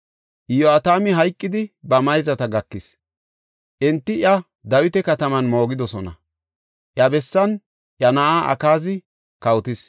Iyo7atami hayqidi ba mayzata gakis. Enti iya Dawita kataman moogidosona. Iya bessan iya na7ay Akaazi kawotis.